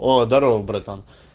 здорова братан